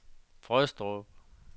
Frøstrup